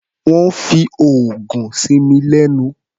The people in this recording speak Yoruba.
Wọ́n fi oògùn sí mi lẹ́nu.